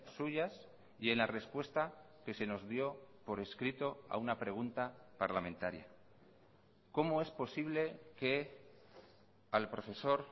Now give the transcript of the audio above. suyas y en la respuesta que se nos dio por escrito a una pregunta parlamentaria cómo es posible que al profesor